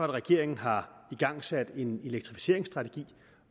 regeringen har igangsat en elektrificeringsstrategi